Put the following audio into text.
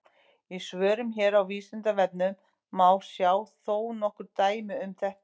Í svörum hér á Vísindavefnum má sjá þó nokkur dæmi um þetta.